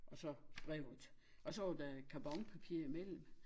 Og så brevet og så var der karbonpapir i mellem